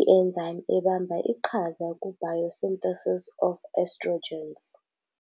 i-enzyme ebamba iqhaza ku-biosynthesis of estrogens.